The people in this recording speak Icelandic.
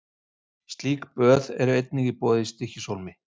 Slík böð eru einnig í boði í Stykkishólmi.